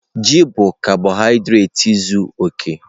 Ji bụ kabọhaịdreeti zuọ oke.